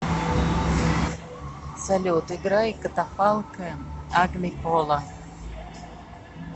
салют играй катафалк аглипола